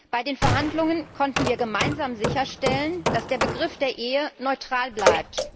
Bei den Verhandlungen konnten wir gemeinsam sicherstellen, dass der Begriff der Ehe neutral bleibt.